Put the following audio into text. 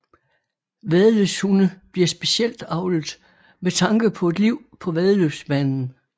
Væddeløbshunde bliver specielt avlet med tanke på et liv på væddeløbsbanen